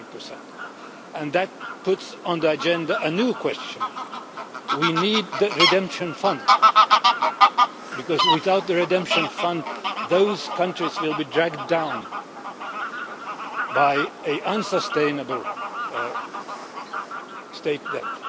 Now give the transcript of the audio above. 100. That puts on the agenda a new question we need the redemption fund, because without the redemption fund those countries will be dragged down by an unsustainable state debt.